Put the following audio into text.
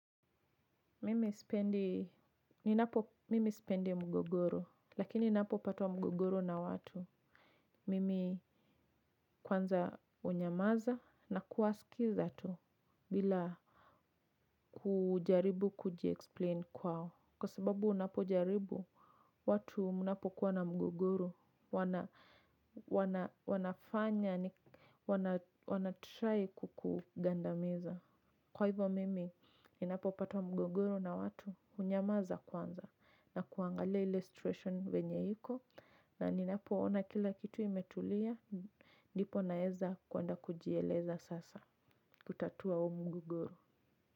Mimi sipendi mgogoro, lakini napopatwa mgogoro na watu. Mimi kwanza hunyamaza na kuwasikiza tu bila kujaribu kuji-explain kwao. Kwa sababu unapo jaribu, watu mnapo kuwa na mgogoro, wanafanya ni wana try kukugandamiza. Kwa hivyo, mimi ninapo patwa mgogoro na watu unyamaza kwanza. Nakuangalia ile situation venye iko na ninapoona kila kitu imetulia ndipo naeza kuenda kujieleza sasa kutatua huu mungogoro.